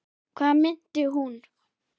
Hvað meinti hún?